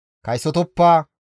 « ‹Kaysotoppa;